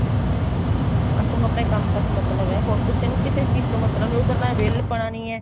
ਉਸਨੂੰ ਆਪਣੇ ਕੰਮ ਤੋਂ ਮਤਲਬ ਏ ਹੋਰ ਕਿਸੇ ਨੂੰ ਕਿਸੇ ਚੀਜ਼ ਤੋਂ ਮਤਲਬ ਨੀ ਉੱਧਰ ਨਾ ਵਿਹਲਪੁਣਾ ਨੀ ਏ